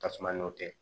Tasuma n'o tɛ